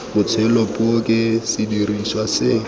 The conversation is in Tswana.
botshelo puo ke sediriswa se